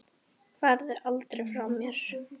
Farðu aldrei frá mér.